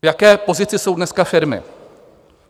V jaké pozici jsou dneska firmy?